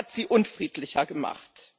Er hat sie unfriedlicher gemacht.